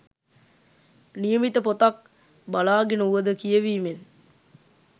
නියමිත පොතක් බලාගෙන වුවද කියවීමෙන්